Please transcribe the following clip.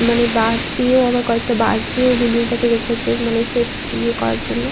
মানে বাঁশ দিয়েও আবার কয়েকটা বাঁশ দিয়েও বিল্ডিং -টাকে রেখেছে মানে সেফটি ইএ করার জন্য।